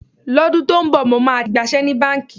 Lọ́dún tó ń bọ̀, mo máa ti gbaṣẹ́ ní báǹkì.